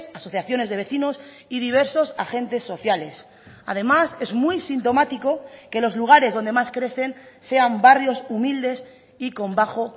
asociaciones de vecinos y diversos agentes sociales además es muy sintomático que los lugares donde más crecen sean barrios humildes y con bajo